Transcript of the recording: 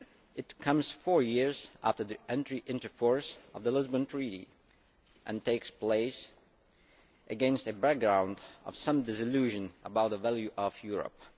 It comes four years after the entry into force of the Lisbon Treaty and takes place against a background of some disillusion about the value of Europe.